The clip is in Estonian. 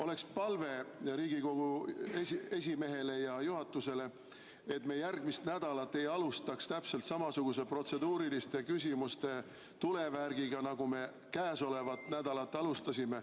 Oleks palve Riigikogu esimehele ja juhatusele, et me järgmist nädalat ei alustaks täpselt samasuguse protseduuriliste küsimuste tulevärgiga, nagu me käesolevat nädalat alustasime.